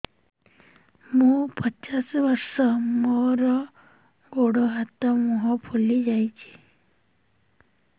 ମୁ ପଚାଶ ବର୍ଷ ମୋର ଗୋଡ ହାତ ମୁହଁ ଫୁଲି ଯାଉଛି